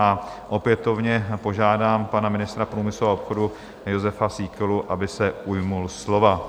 A opětovně požádám pana ministra průmyslu a obchodu Jozefa Síkelu, aby se ujal slova.